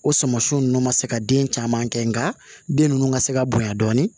O suman siw nɔna se ka den caman kɛ nka den ninnu ka se ka bonya dɔɔni